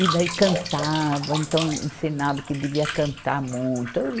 E daí cantava, então ensinava que devia cantar muito.